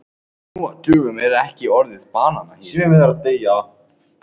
Nú á dögum er orðið refskák stundum notað í yfirfærðri merkingu.